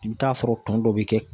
I bɛ t'a sɔrɔ tɔn dɔ bɛ kɛ